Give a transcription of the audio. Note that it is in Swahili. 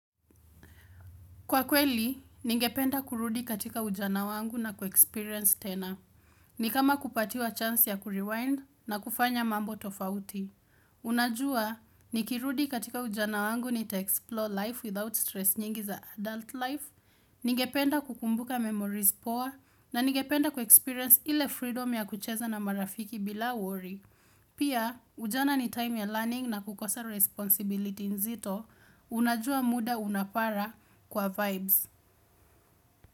Kwa kweli, ningependa kurudi katika ujana wangu na kuexperience tena. Ni kama kupatiwa chance ya kurewind na kufanya mambo tofauti. Unajua, nikirudi katika ujana wangu ni te-explore life without stress nyingi za adult life, ningependa kukumbuka memories poor, na ningependa kuexperience ile freedom ya kucheza na marafiki bila worry. Pia, ujana ni time ya learning na kukosa responsibility nzito, unajua muda unapara kwa vibes.